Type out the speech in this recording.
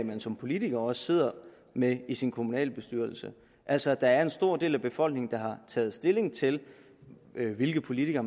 man som politiker også sidder med i sin kommunalbestyrelse altså at der er en stor del af befolkningen der har taget stilling til hvilke politikere